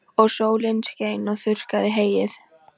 Og sólin skein og þurrkaði heyið.